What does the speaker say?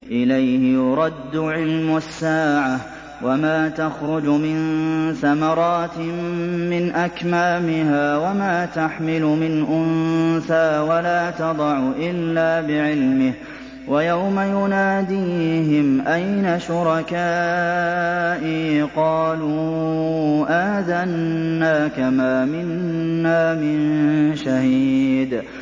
۞ إِلَيْهِ يُرَدُّ عِلْمُ السَّاعَةِ ۚ وَمَا تَخْرُجُ مِن ثَمَرَاتٍ مِّنْ أَكْمَامِهَا وَمَا تَحْمِلُ مِنْ أُنثَىٰ وَلَا تَضَعُ إِلَّا بِعِلْمِهِ ۚ وَيَوْمَ يُنَادِيهِمْ أَيْنَ شُرَكَائِي قَالُوا آذَنَّاكَ مَا مِنَّا مِن شَهِيدٍ